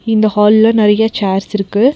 இந்த ஹால்ல நெறையா சேர்ஸ் இருக்கு.